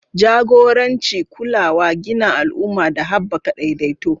Jagoranci, kulawa, gina al'umma, da haɓaka daidaito.